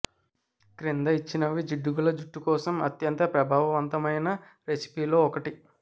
క్రింద ఇచ్చినవి జిడ్డుగల జుట్టు కోసం అత్యంత ప్రభావవంతమైన రెసిపీస్ లో ఒకటి